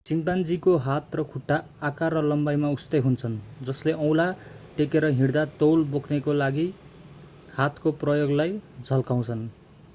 चिम्पान्जीको हात र खुट्टा आकार र लम्बाईमा उस्तै हुन्छन् जसले औँला टेकेर हिँड्दा तौल बोक्नको लागि हातको प्रयोगलाई झल्काउँछन्